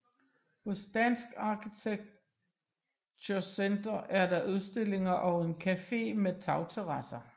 Hos Dansk Arkitektur Center er der udstillinger og en café med tagterrasser